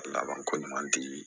Laban ko ɲuman di